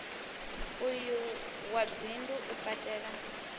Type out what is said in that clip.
uyu wa bindu u katela